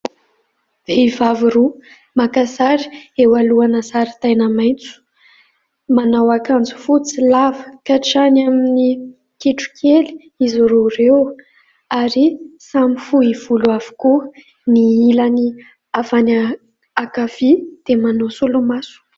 Vehivavy roa maka sary eo alohana zaridaina maitso, manao akanjo fotsy lava hatrany amin'ny kitro kely izy roa ireo ary samy fohy volo avokoa ; ny ilany avy any ankavia dia manao solomaso.